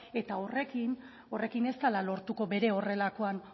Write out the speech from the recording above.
eta horrekin ez dela lortuko bere horrelakoan